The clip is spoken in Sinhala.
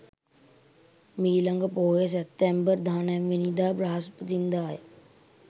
මීළඟ පෝය සැප්තැම්බර් 19 වැනි දා බ්‍රහස්පතින්දාය.